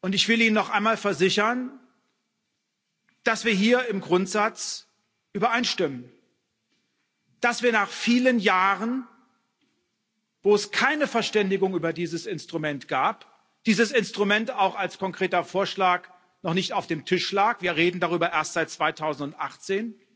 Ich will Ihnen noch einmal versichern, dass wir hier im Grundsatz übereinstimmen, dass wir nach vielen Jahren, wo es keine Verständigung über dieses Instrument gab, dieses Instrument auch als konkreter Vorschlag noch nicht auf dem Tisch lag wir reden darüber erst seit 2018